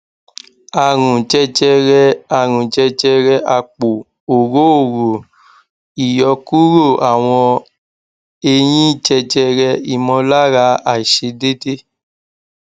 àrùn jẹjẹrẹ àrùn jẹjẹrẹ apo orooro iyokuro àwọn eyin jẹjẹre imolara aisedede